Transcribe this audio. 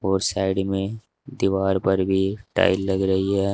और साइड में दीवार पर भी टाइल लग रही है।